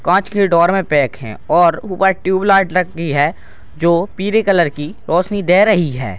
काँच की ड्रॉअर में पैक है और ऊपर ट्यूबलाइट लटकी है जो पीले कलर की रोशनी दे रही है |